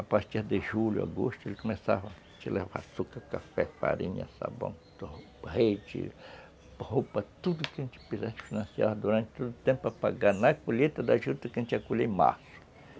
A partir de julho, agosto, ele começava a te levar açúcar, café, farinha, sabão, leite, roupa, tudo que a gente precisasse, financiava durante todo o tempo para pagar na colheita da juta que a gente ia colher em março.